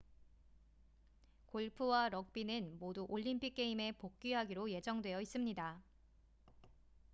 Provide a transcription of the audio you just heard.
골프와 럭비는 모두 올림픽 게임에 복귀하기로 예정되어 있습니다